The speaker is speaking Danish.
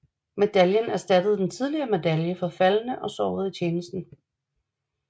Medaljen erstattede den tidligere medalje for faldne og sårede i tjeneste